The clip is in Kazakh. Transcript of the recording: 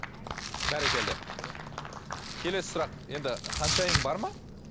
бәрекелді келесі сұрақ енді ханшайым бар ма